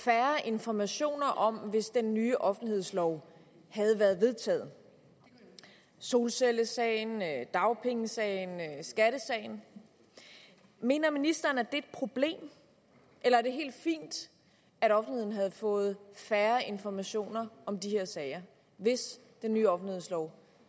færre informationer om hvis den nye offentlighedslov havde været vedtaget solcellesagen dagpengesagen skattesagen mener ministeren at det et problem eller er det helt fint at offentligheden havde fået færre informationer om de her sager hvis den nye offentlighedslov